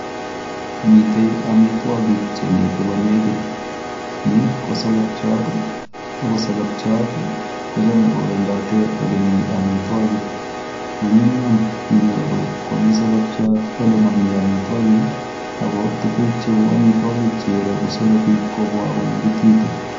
Mitei amitwogik che mitei ko nekit. Ni, ko solopchat, ako solopchat, kochame kowendate ole mii amitwogik. Manyumnyum inyoru komiii solopchat ole mami amitwogik, ako tuguk cheu amitwogik cherogu solopik kobwa konekititu